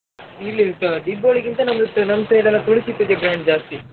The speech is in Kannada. ಇಲ್ಲ ಇಲ್ಲಾ ತೊ~, Deepavali ಗಿಂತ ನಮಿಗ್ ನಮ್ side ಎಲ್ಲಾ ತುಳಸಿ ಪೂಜೆ grand ಜಾಸ್ತಿ.